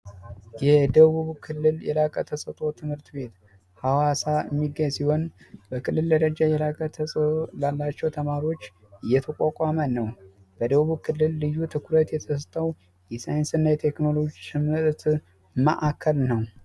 የደቡብ ክልል የራቀ ተሰጦ ትምህርት ቤት ሀዋሳ ሚካኤል ሲሆን በክልል ደረቀ ተማሪዎች ነው በደቡብ ክልል ልዩ ትኩረት ማዕከል ነው